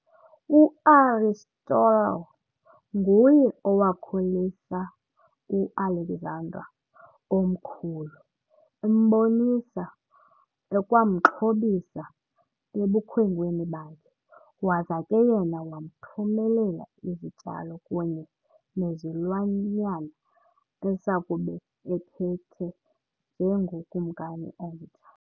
U-Aristotle nguye owakhulisa u-Alexander omkhulu embonisa ekwamxhobisa ebukhwenkweni bakhe, waza ke yena wamthumelela izityalo kunye nezilwanyana esakube ephethe njengokumkani omtsha.